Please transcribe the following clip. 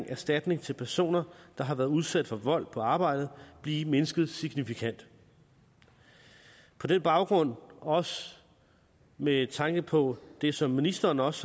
erstatning til personer der har været udsat for vold på arbejdet blive mindsket signifikant på den baggrund også med tanke på det som ministeren også